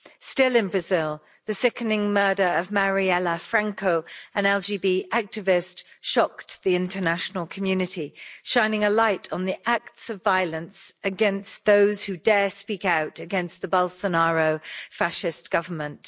Still in Brazil, the sickening murder of Marielle Franco, an LGB activist, shocked the international community, shining a light on the acts of violence against those who dare speak out against the Bolsonaro fascist government.